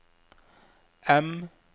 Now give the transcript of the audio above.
M